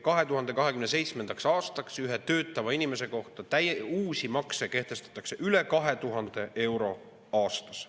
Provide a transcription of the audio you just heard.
2027. aastaks kehtestatakse ühe töötava inimese kohta uusi makse üle 2000 euro aastas.